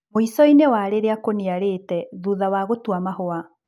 Mwĩshoinĩ wa rĩrĩa kũniarite, thutha wa gũtua maũa.